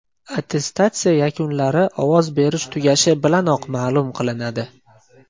Attestatsiya yakunlari ovoz berish tugashi bilanoq ma’lum qilinadi.